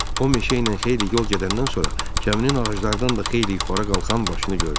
O, meşəylə xeyli yol gedəndən sonra gəminin ağaclardan da xeyli yuxarı qalxan başını gördü.